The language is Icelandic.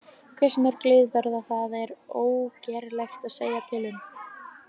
Hversu mörg lið verða þar er ógerlegt að segja til um.